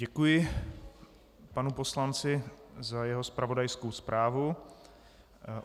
Děkuji panu poslanci za jeho zpravodajskou zprávu.